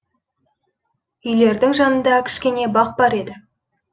үйлердің жанында кішкене бақ бар еді